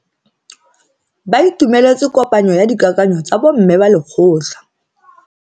Ba itumeletse kopanyo ya dikakanyo tsa bo mme ba lekgotla.